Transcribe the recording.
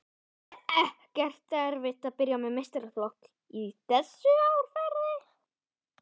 Er ekkert erfitt að byrja með meistaraflokk í þessu árferði?